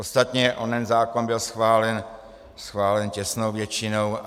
Ostatně onen zákon byl schválen těsnou většinou.